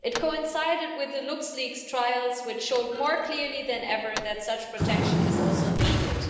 It coincided with the LuxLeaks trials, which showed more clearly than ever that such protection is also needed.